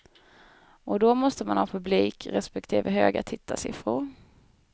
Och då måste man ha publik, respektive höga tittarsiffror.